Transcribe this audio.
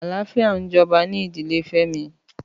Àláfiá n jòbá ni ìdílé Femi